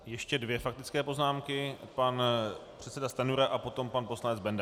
Ještě dvě faktické poznámky - pan předseda Stanjura a potom pan poslanec Benda.